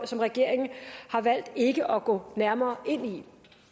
som regeringen har valgt ikke at gå nærmere ind i